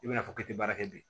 I bɛna fɔ k'i tɛ baara kɛ bilen